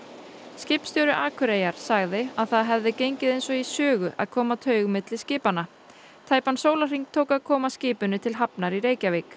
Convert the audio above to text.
skipstjóri Akureyjar sagði að það hefði gengið eins og í sögu að koma taug á milli skipanna tæpan sólarhring tók að koma skipinu til hafnar í Reykjavík